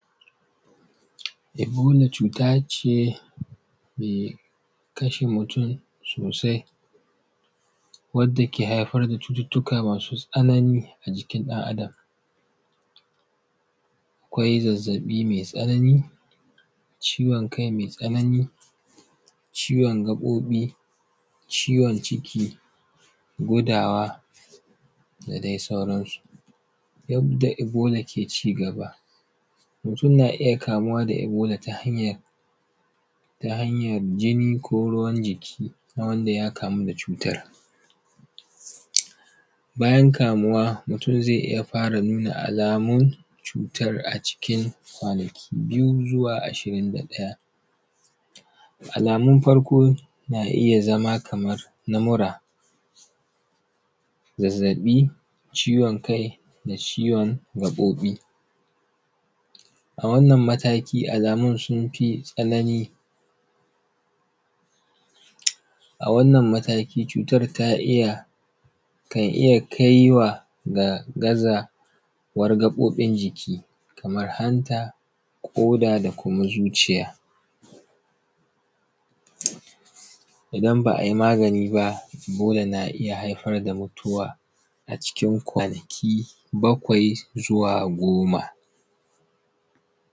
ebola cuta ce mai kashe mutum sosai wadda ke haifar da cututtuka masu tsanani a jikin ɗan adam akwai zazzaɓi mai tsanani ciwon kai mai tsanani ciwon gaɓoɓi ciwon ciki gudawa da dai sauransu yadda ebola ke cigaba mutum na iya kamuwa da ebola ta hanyan jini ko ruwan jiki wanda ya kamu da cutar bayan kamuwa mutum zai iya fara nuna alamun cutan a cikin kwanaki biyu ko zuwa ashirin da ɗaya alamun farko na iya zama kamar na mura zazzaɓi ciwon kai da ciwon gaɓoɓi a wannan matakin alamun sun fi tsanani a wannan matakin cutar ta iya kan iya kai wa ga gazawar gaɓoɓin jiki kamar hanta ƙoda da kuma zuciya idan ba ai magani ba ebola na iya haifar da mutuwa a cikin kwanaki bakwai zuwa goma